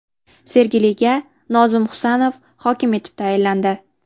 Sergeliga Nozim Husanov hokim etib tayinlandi.